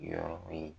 Yɔrɔ in